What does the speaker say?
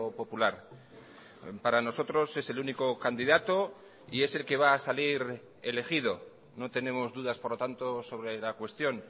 popular para nosotros es el único candidato y es el que va a salir elegido no tenemos dudas por lo tanto sobre la cuestión